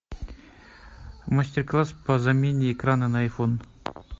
мастер класс по замене экрана на айфон